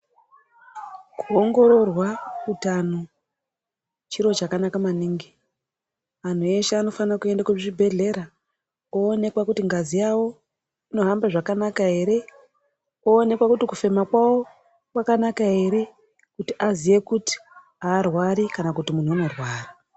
Kuongororwa utano chiro chakanaka maningi anhu eshe anofana kuenda kuzvibhedhlera koonekwa kuti ngazi yawo inohamba zvakanaka ere oonekwa kuti kufema kwawo kwakanaka ere kuti aziye kuti arwari kana kuti munhu unorwara.